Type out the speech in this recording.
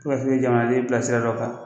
U ka se jamanaden bila sira dɔ kan